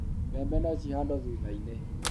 bebe no cihandũo tuta inĩ